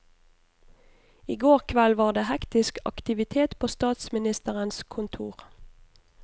I går kveld var det hektisk aktivitet på statsministerens kontor.